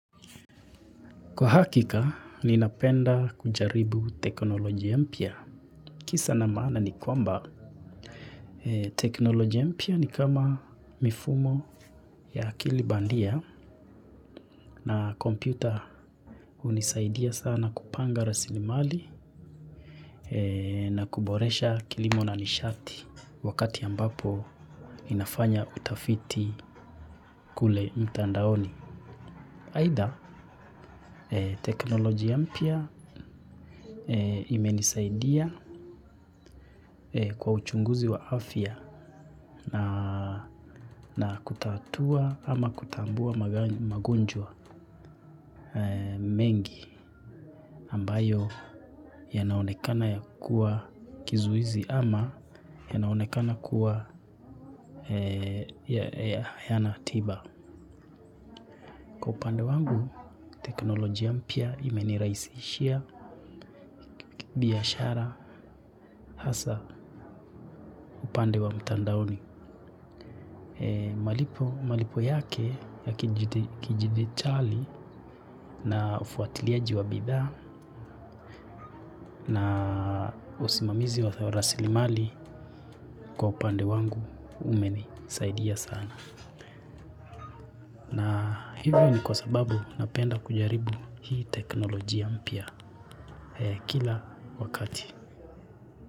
Kwa hakika, ninapenda kujaribu Teknolojia Mpya. Kisa na maana ni kwamba, Teknolojia Mpya ni kama mifumo ya akili bandia na kompyuta hunisaidia sana kupanga rasilimali na kuboresha kilimo na nishati wakati ambapo ninafanya utafiti kule mtandaoni. Aidha, teknolojia ya mpya imenisaidia kwa uchunguzi wa afya na kutatua ama kutambua magonjwa mengi ambayo yanaonekana ya kuwa kizuizi ama yanaonekana kuwa hayana tiba. Upande wangu teknolojia mpya imenirahisishia, biashara, hasaa upande wa mtandaoni. Malipo yake ya kidijitali na ufuatiliaji wa bidhaa na usimamizi wa rasilimali kwa upande wangu umenisaidia sana. Na hivyo ni kwa sababu napenda kujaribu hii teknolojia mpya kila wakati.